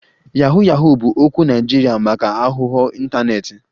Yahoo Yahoo bụ okwu Naịjirịa maka aghụghọ ịntanetị